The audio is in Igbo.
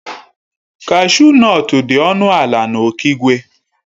Kashu nọtu dị ọnụ ala na Okigwe.